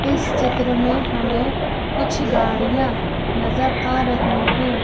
इस चित्र में हमें कुछ गाड़ियाँ नजर आ रही हैं।